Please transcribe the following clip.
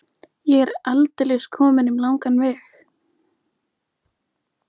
Ég er aldeilis kominn um langan veg.